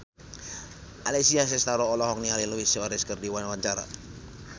Alessia Cestaro olohok ningali Luis Suarez keur diwawancara